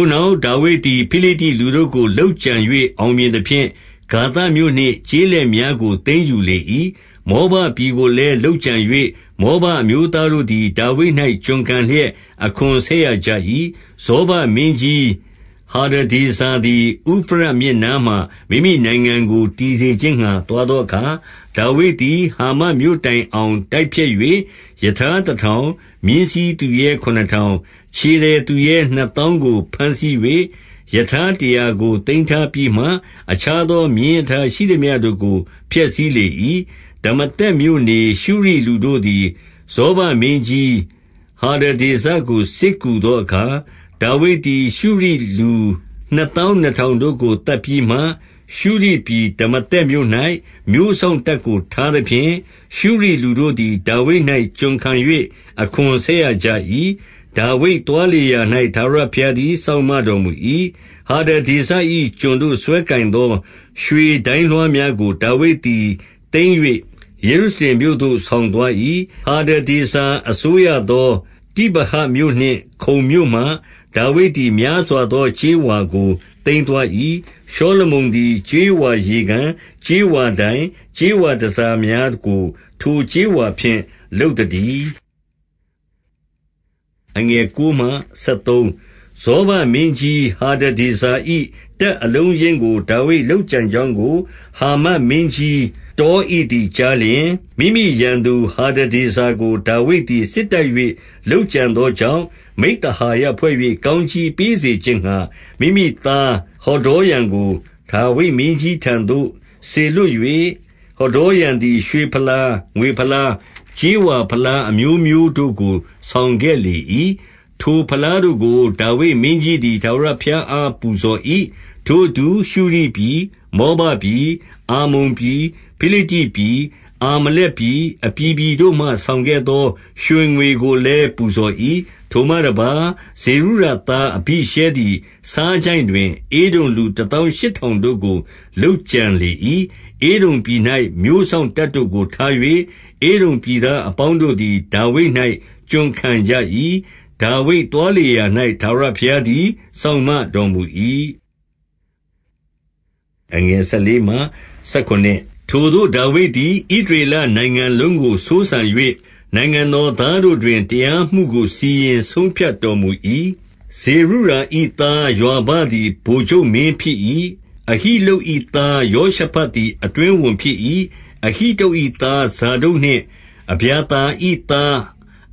ိုနောက်ဒါဝိဒ်သည် ဖိလိတ္တိလူတို့ကို လုပ်ကြံ ၍အောင်မြင်သဖြင့်၊ ဂါသမြို့နှင့် ကျေးလက်များကို သိမ်းယူလေ၏။ 2 မောဘပြည်ကိုလည်း လုပ်ကြံ၍ မောဘအမျိုး သားတို့သည် ဒါဝိဒ်၌ ကျွန်ခံလျက်အခွန်ဆက်ရကြ၏။ 3 ဇောဘမင်းကြီးဟာ ဒဒေဇာသည်၊ ဥဖရတ်မြစ် နားမှာ မိမိနိုင်ငံကို တည်စေခြင်းငှါ သွားသောအခါ၊ ဒါဝိဒ်သည် ဟာမတ်မြို့တိုင်အောင် တိုက်ဖျက်၍၊ 4 ရထားတထောင်၊ မြင်းစီးသူရဲခုနစ်ထောင်၊ ခြေသည်သူရဲနှစ်သောင်းကို ဘမ်းဆီး၍ ရထားတရာကို သိမ်းထားပြီးမှ အခြားသော မြင်းရထားရှိသမျှတို့ကို ဖျက်ဆီးလေ၏။ 5 ဒမာသက်မြို့နေ ရှုရိလူတို့သည် ဇောဘမင်းကြီး ဟာဒဒေဇာကို စစ်ကူသောအခါ၊ ဒါဝိဒ်သည် ရှုရိလူ နှစ်သောင်းနှစ်ထောင်တို့ကို သတ်ပြီးမှ၊ 6 ရှုရိပြည်ဒမာသက်မြို့၌ မြို့စောင့်တပ်ကို ထား သဖြင့်၊ ရှုရိလူတို့သည်ဒါဝိဒ်၌ ကျွန်ခံ၍ အခွန်ဆက်ရ ကြ၏။ ဒါဝိဒ်သွားလေရာရာ၌ ထာဝရဘုရားသည် စောင့်မတော်မူ၏။ 7 ဟာဒဒေဇာ၏ကျွန်တို့ စွဲကိုင်သော ရွှေဒိုင်းလွှားများကို ဒါဝိဒ်သည်သိမ်း၍ ယေရုရှလင်မြို့သို့ ဆောင်သွား၏။ 8 ဟာဒဒေဇာအစိုးရသော တိဗဟတ်မြို့နှင့် ခုန်မြို့မှ၊ ဒါဝိဒ်သည် များစွာသော ကြေးဝါကို သိမ်းသွား ၏။ ရှောလမုန်သည် ကြေးဝါရေကန်၊ ကြေးဝါတိုင်၊ ကြေးဝါတန်ဆာများကို ထိုကြေးဝါဖြင့် လုပ်သတည်း။ 9 ဇောဘမင်းကြီးဟာဒဒေဇာ၏ တပ်အလုံး အရင်းကို ဒါဝိဒ်လုပ်ကြံကြောင်းကိုဟာမတ်မင်းကြီး တောဣသည်ကြားလျှင်၊ 10 မိမိရန်သူဟာဒဒေဇာကို ဒါဝိဒ်သည် စစ်တိုက်၍ လုပ်ကြံသောကြောင့်၊ မိဿဟာယဖွဲ့၍ ကောင်းကြီးပေး စေခြင်းငှါ မိမိသားဟဒေါရံကို ဒါဝိဒ်မင်းကြီးထံသို့ စေလွှတ်၍၊ ဟဒေါရံသည် ရွှေဖလား၊ ငွေဖလား၊ ကြေးဝါ ဖလားအမျိုးမျိုးတို့ကို ဆောင်ခဲ့လေ၏။ 11 ထိုဖလားတို့ကို ဒါဝိဒ်မင်းကြီးသည် ထာဝရ ဘုရားအား ပူဇော်၏။ ထိုအတူရှုရိပြည်၊ မောဘပြည်၊ အမ္မုန်ပြည်၊ ဖိလိတ္တိပြည်၊ အာမလက်ပြည်၊ အပြည်ပြည် တို့မှ ဆောင်ခဲ့သော ရွှေငွေကိုလည်း ပူဇော်၏။ 12 ထိုမှတပါး၊ဇေရုယာသားအဘိရှဲသည် ဆားချိုင့် တွင် ဧဒုံလူတသောင်းရှစ်ထောင်တို့ကို လုပ်ကြံလေ၏။ 13 ဧဒုံပြည်၌မြို့စောင့်တပ်တို့ကို ထား၍၊ ဧဒုံပြည် သားအပေါင်းတို့သည် ဒါဝိဒ်၌ ကျွန်ခံကြ၏။ ဒါဝိဒ် သွားလေရာရာ၌ ထာဝရဘုရားသည် စောင့်မတော်မူ၏။ 14 ထိုသို့ဒါဝိဒ်သည် ဣသရေလနိုင်ငံလုံးကိုစိုးစံ၍၊ နိုင်ငံတော်သားတို့တွင် တရားမှုကို စီရင်ဆုံးဖြတ်တော် မူ၏။ 15 ဇေရုယာ၏သားယွာဘသည် ဗိုလ်ချုပ်မင်း ဖြစ်၏။ အဟိလုဒ်၏သား ယောရှဖတ်သည် အတွင်းဝန် ဖြစ်၏။ 16 အဟိတုပ်၏သား ဇာဒုတ်နှင့်အဗျာသာ၏သား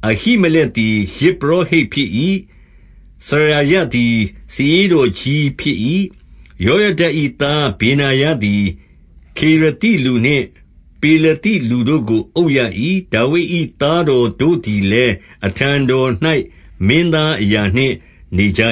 အဟိမလက်သည် ယဇ်ပုရောဟိတ်ဖြစ်၏။ စရာယသည် စာရေးတော်ကြီးဖြစ်၏။ 17 ယောယဒ၏သားဗေနာယသည် ခေရသိလူနှင့် ပေလသိလူတို့ကို အုပ်ရ၏။ ဒါဝိဒ်၏သားတော်တို့သည် လည်း အထံတော်၌ မင်းသားအရာနှင့်နေကြ